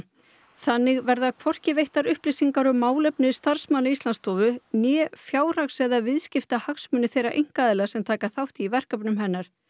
þannig verða hvorki veittar upplýsingar um málefni starfsmanna Íslandsstofu né fjárhags eða viðskiptahagsmuni þeirra einkaaðila sem taka þátt í verkefnum hennar